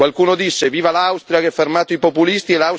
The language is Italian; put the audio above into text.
Qualcuno disse Viva l'Austria che ha fermato i populisti!,